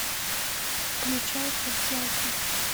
включай подделка